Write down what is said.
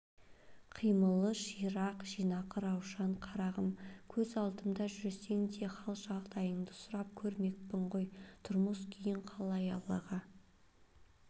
қимылы ширақ жинақы раушан қарағым көз алдымда жүрсең де хал-жағдайыңды сұрап көрмеппін ғой тұрмыс-күйің қалай аллаға